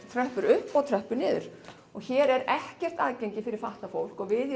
tröppur upp og tröppur niður hér er ekkert aðgengi fyrir fatlað fólk og við